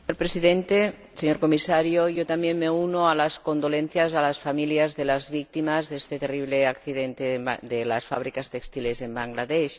Señor Presidente, señor Comisario, yo también me uno a las condolencias a las familias de las víctimas de este terrible accidente de las fábricas textiles en Bangladés.